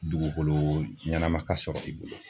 Dugukolo ɲanama ka sɔrɔ i bolo